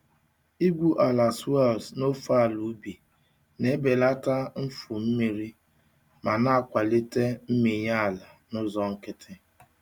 Igwu ala swales n'ofe ala ubi na-ebelata mfu mmiri ma na-akwalite mmịnye ala n'ụzọ nkịtị.